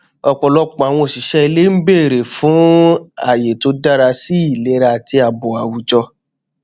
ọpọlọpọ àwọn òṣìṣẹ ilé n bèrè fún àyè tó dára sí ìlera ara àti ààbò àwùjọ